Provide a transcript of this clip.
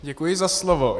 Děkuji za slovo.